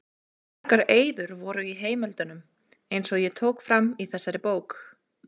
Margar eyður voru og í heimildunum, eins og ég tók fram í þessari bók.